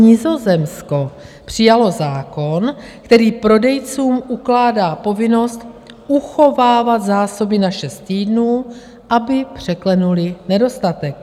Nizozemsko přijalo zákon, který prodejcům ukládá povinnost uchovávat zásoby na šest týdnů, aby překlenuli nedostatek.